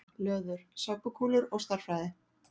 Löður: Sápukúlur og stærðfræði.